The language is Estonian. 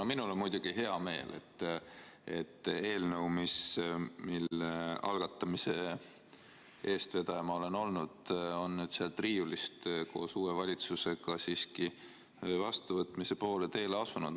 No minul on muidugi hea meel, et eelnõu, mille algatamise eestvedaja ma olen olnud, on nüüd uue valitsuse ajal siiski sealt riiulist vastuvõtmise poole teele asunud.